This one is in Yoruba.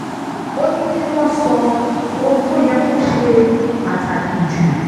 ó ní kí wọ́n sọ ohun tó yẹ kó ṣe pàtàkì jù